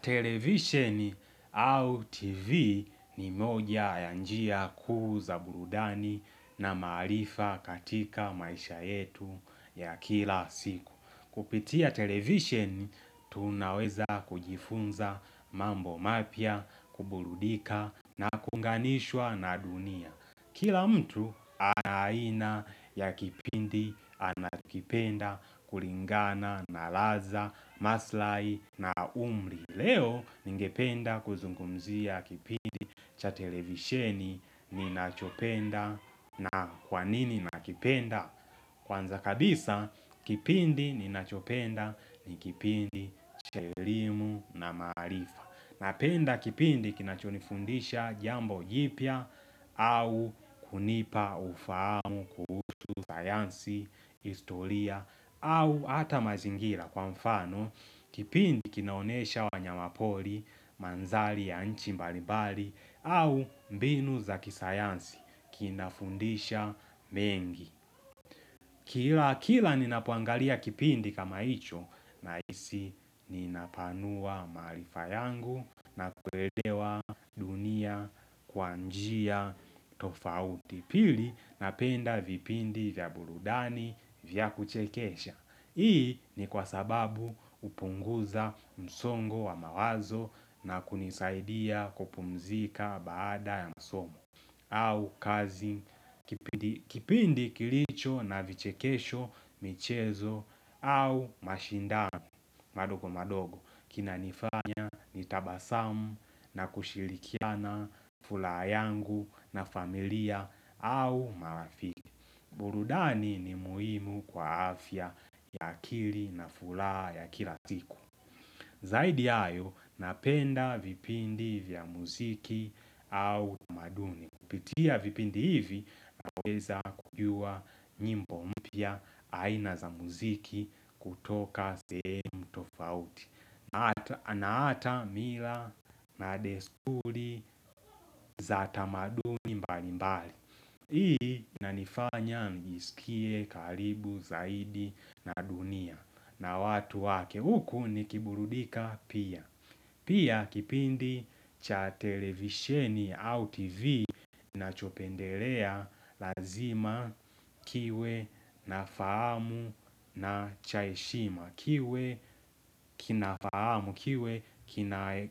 Televisheni au TV ni moja ya njia kuuza burudani na marifa katika maisha yetu ya kila siku. Kupitia televisheni tunaweza kujifunza mambo mapya, kuburudika na kuunganishwa na dunia. Kila mtu ana aina ya kipindi anakipenda kulingana, na raza, maslahi na umri leo ningependa kuzungumzia kipindi cha televisheni ninachopenda na kwanini nakipenda? Kwanza kabisa, kipindi ninachopenda ni kipindi cha elimu na maarifa Napenda kipindi kinachonifundisha jambo jipya au kunipa ufahamu kuhusu sayansi, historia au ata mazingira kwa mfano kipindi kinaonyesha wanyama pori, manzali ya nchi mbalimbali au mbinu za kisayansi kinafundisha mengi. Kila kila ninapoangalia kipindi kama hicho na hisi ninapanua maarifa yangu na kuelewa dunia kwa njia tofauti pili na penda vipindi vya burudani vyakuchekesha. Hii ni kwa sababu hupunguza msongo wa mawazo na kunisaidia kupumzika baada ya masomo au kazi, kipindi kilicho na vichekesho, michezo au mashindani madogo madogo kina nifanya nitabasamu na kushilikiana furaha yangu na familia au marafiki burudani ni muhimu kwa afya ya akili na furaha ya kila siku Zaidi ya hayo napenda vipindi vya muziki au tamaduni Kupitia vipindi hivi naweza kujua nyimbo mpya aina za muziki kutoka sehemu tofauti na hata mila na desturi za tamaduni mbali mbali hii inanifanya nijisikie karibu zaidi na dunia na watu wake huku nikiburudika pia Pia kipindi cha televisheni au tv nachopendelea lazima kiwe na fahamu na cha heshima kiwe kinafahamu kiwe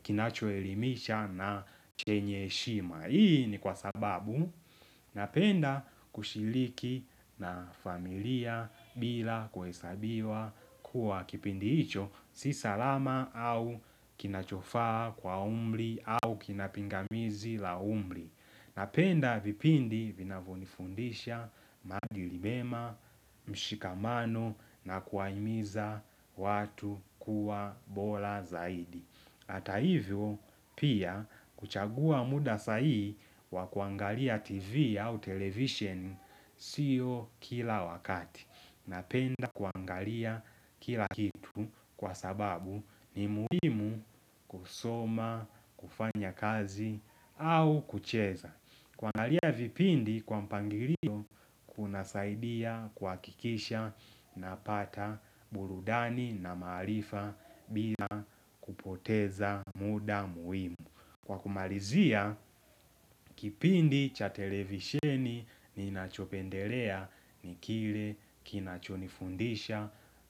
kinachoelimisha na chenye heshima Hii ni kwa sababu napenda kushiriki na familia bila kuhesabiwa kuwa kipindi hicho si salama au kinachofaa kwa umri au kinapingamizi la umri Napenda vipindi vinavonifundisha maadili mema mshikamano na kuwahimiza watu kuwa bora zaidi Ata hivyo pia kuchagua muda sahi wa kuangalia tv au televishen siyo kila wakati. Napenda kuangalia kila kitu kwa sababu ni muhimu kusoma, kufanya kazi au kucheza. Kuangalia vipindi kwa mpangilio kunasaidia kuhakikisha napata burudani na maarifa bila kupoteza muda muhimu. Kwa kumalizia kipindi cha televisheni ninachopendelea ni kile kinachonifundisha,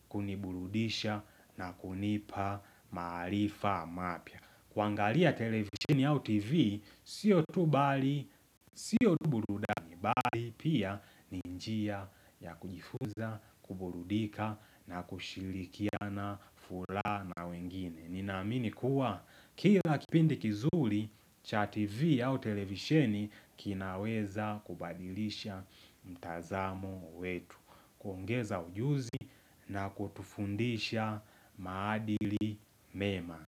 kuniburudisha na kunipa maarifa mapya. Kuangalia televisheni au tv, siyo tu bali, siyo tu burudani bali pia ni njia ya kujifunza, kuburudika na kushirikiana furaha na wengine. Ninaamini kuwa, kila kipindi kizuri, cha tv au televisheni kinaweza kubadilisha mtazamo wetu. Kuongeza ujuzi na kutufundisha maadili mema.